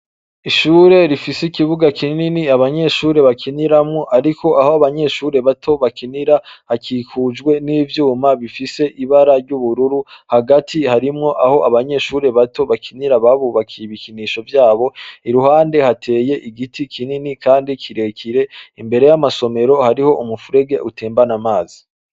Ishure rifise ikibuga kinini abanyeshure bakiniramwo, ariko aho abanyeshure bato bakinira hakikujwe n'ivyuma bifise ibara ry'ubururu hagati harimwo aho abanyeshure bato bakinira babubakiye ibikinisho vyabo iruhande hateye igiti kinini, kandi kirekire imbere y'amasomero hari iho umufurege utembana amazi.